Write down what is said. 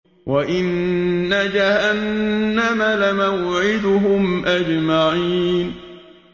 وَإِنَّ جَهَنَّمَ لَمَوْعِدُهُمْ أَجْمَعِينَ